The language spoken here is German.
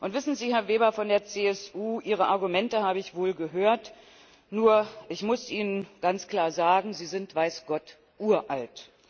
Wissen Sie, Herr Weber von der CSU, Ihre Argumente habe ich wohl gehört, nur muss ich Ihnen ganz klar sagen, diese sind weiß Gott uralt.